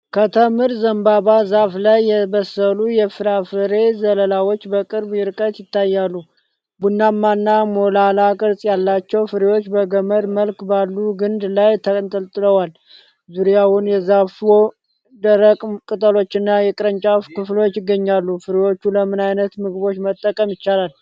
ከተምር ዘንባባ ዛፍ ላይ የበሰሉ የፍራፍሬ ዘለላዎች በቅርብ ርቀት ይታያሉ። ቡናማና ሞላላ ቅርጽ ያላቸው ፍሬዎች በገመድ መልክ ባሉ ግንድ ላይ ተንጠልጥለዋል። ዙሪያውን የዛፉ ደረቅ ቅጠሎችና የቅርንጫፍ ክፍሎች ይገኛሉ። ፍሬዎቹ ለምን አይነት ምግቦች መጠቀም ይቻላል?